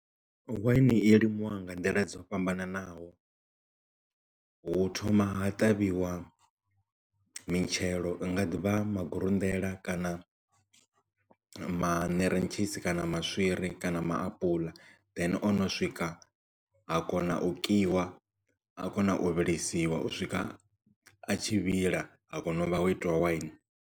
Waini i limiwa nga nḓila dzo fhambananaho hu thoma ha ṱavhiwa mitshelo vha nga ḓivha magulunḓela kana maṋerentshisi kana maswiri kana maapuḽa then o no swika a kona u kiwa a kona u vhilisiwa u swika a tshi vhila a kona u vha ho itiwa waini.